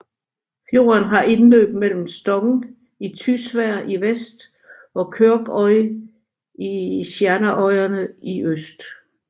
Fjorden har indløb mellem Stong i Tysvær i vest og Kyrkjøy i Sjernarøyane i øst